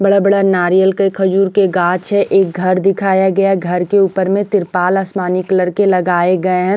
बड़ा-बड़ा नारियल के खजूर के गाछ है एक घर दिखाया गया घर के ऊपर में त्रिपाल आसमानी कलर के लगाए गए हैं।